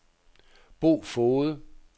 Bo Foged